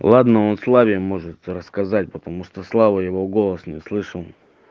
ладно он славе может рассказать потому что слава его голос не слышал